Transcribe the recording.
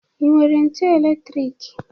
Ị nwere ntu elektrik?